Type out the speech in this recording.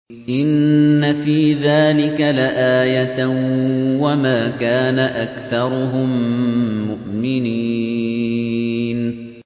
إِنَّ فِي ذَٰلِكَ لَآيَةً ۖ وَمَا كَانَ أَكْثَرُهُم مُّؤْمِنِينَ